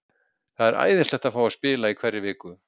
Það er æðislegt að fá að spila í hverri viku.